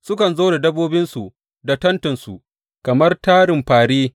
Sukan zo da dabbobinsu da tentinsu kamar tarin fāri.